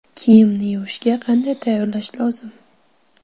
Kiyimni yuvishga qanday tayyorlash lozim?